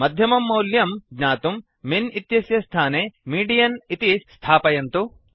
मध्यमं मौल्यम् ज्ञातुं मिन् इत्यस्य स्थाने मीडियन् इति स्थापयन्तु